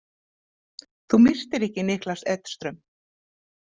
Þú myrtir ekki Niklas Edström?